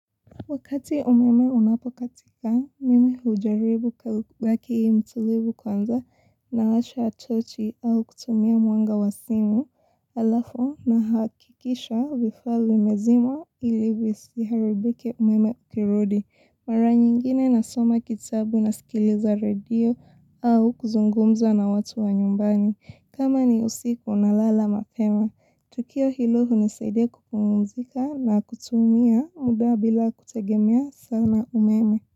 Wakati umeme unapokatika, mimi hujaribu kubaki mtulivu kwanza na washa torch au kutumia mwanga wa simu alafu nahakikisha vifaa vimezimwa ili visiharibike umeme ukirudi. Mara nyingine nasoma kitabu nasikiliza radio au kuzungumza na watu wa nyumbani. Kama ni usiku na lala mapema. Tukio hilo hunizaidia kukumuzika na kutumia muda bila kutegemea sana umeme.